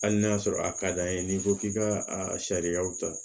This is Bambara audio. Hali n'a sɔrɔ a ka d'an ye n'i ko k'i ka a sariyaw ta